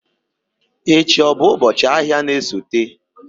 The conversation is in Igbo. Echi ọ bụ ụbọchị ahịa na-esote?